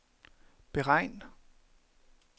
beregn